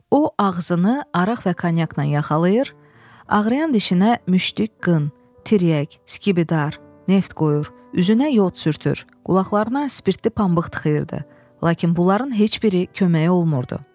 O ağzını araq və kanyakla yaxalayır, ağrıyan dişinə müşdük, qın, tiryək, skibidar, neft qoyur, üzünə yod sürtür, qulaqlarına spirtli pambıq tıxıyırdı, lakin bunların heç biri köməyi olmurdu.